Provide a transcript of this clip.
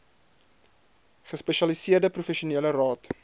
gespesialiseerde professionele raad